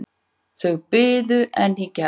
Þau biðu enn í gær.